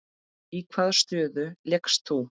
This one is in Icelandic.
Í hvaða stöðu lékst þú?